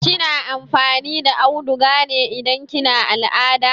Kina amfani da auduga ne idan kina al'ada?